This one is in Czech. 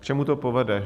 K čemu to povede?